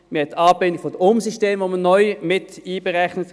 Man hat die Anbindung der Umsysteme, die man neu mit einberechnet.